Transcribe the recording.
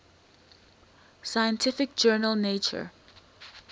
scientific journal nature